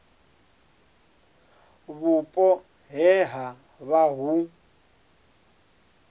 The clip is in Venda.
vhupo he ha vha hu